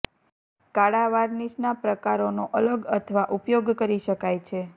કાળા વાર્નિશના પ્રકારોનો અલગ અથવા ઉપયોગ કરી શકાય છે